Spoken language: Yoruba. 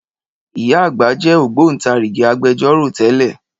Ìyá àgbà jẹ́ Ògbóntarìgì Agbẹjọ́rò tẹ́lẹ̀